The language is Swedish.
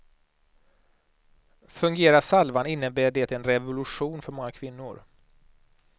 Fungerar salvan innebär det en revolution för många kvinnor.